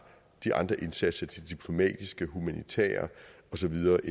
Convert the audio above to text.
de andre indsatser de diplomatiske de humanitære og så videre